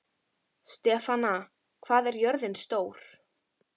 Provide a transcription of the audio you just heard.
Stefana, hvað er jörðin stór?